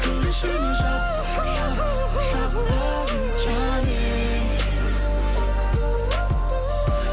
кір ішіне жап жап жап лав ю жаным